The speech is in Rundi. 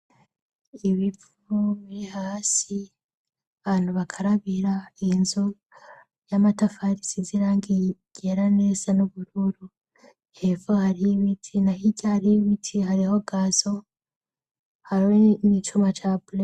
Ibipfume hasi bantu bakarabira inzu y'amatafarisi zirangigera neza n'ubururu hefo hari y'iwiti na higa hari ibiti hariho gazo hariwe n'icuma capule.